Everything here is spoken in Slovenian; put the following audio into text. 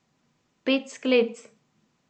Pet sklec!